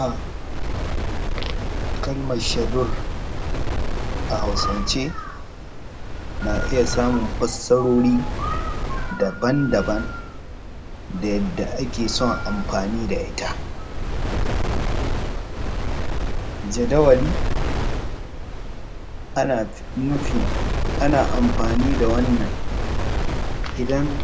A kalmar shedur a Hausance na iya samu fassarori daban-daban da yadda ake son anfani da ita, jadawali ana nufn ana anfani da wannan idan